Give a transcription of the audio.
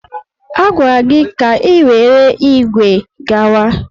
A gwara gị ka i were ígwè gawa!